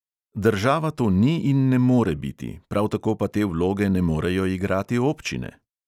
Država to ni in ne more biti, prav tako pa te vloge ne morejo igrati občine.